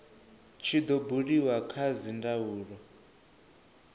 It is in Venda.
tshi do buliwa kha dzindaulo